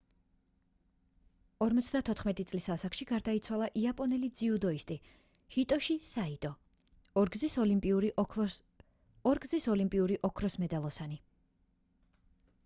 54 წლის ასაკში გარდაიცვალა იაპონელი ძიუდოისტი ჰიტოში საიტო ორგზის ოლიმპიური ოქროს მედალოსანი